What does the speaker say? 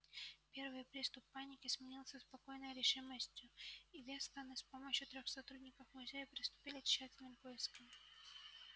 первый приступ паники сменился спокойной решимостью и вестоны с помощью трёх сотрудников музея приступили к тщательным поискам